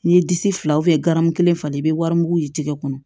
N'i ye disi fila ganbu kelen falen i be wari mugu ye jɛgɛ kɔnɔ